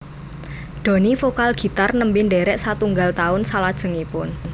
Doni vokal gitar nembe ndherek satunggal taun salajengipun